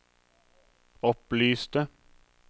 opplyste